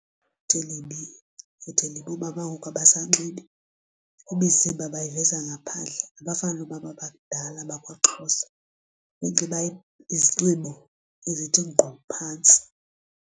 Lifuthe libi. ifuthe ilibi, oomama ngoku abasanxibi imizimba bayiveza ngaphandle. Abafani noomama bakudala bakwaXhosa benxiba izinxibo ezithi ngqu phantsi.